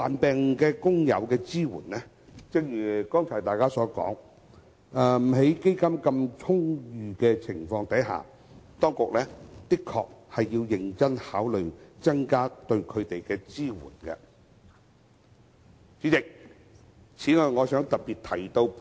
正如剛才有議員提到，在基金充裕的情況下，當局的確需認真考慮增加對患病工友的支援。